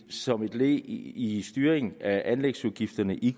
som led i i styringen af anlægsudgifterne i